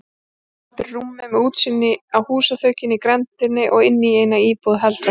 Morgunmatur í rúmi, með útsýni á húsaþökin í grenndinni og inní eina íbúð heldra fólks.